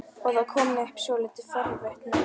Og það kom upp svolítið forvitnileg færsla.